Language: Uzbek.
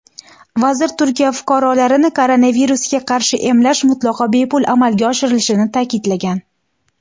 vazir Turkiya fuqarolarini koronavirusga qarshi emlash mutlaqo bepul amalga oshirilishini ta’kidlagan.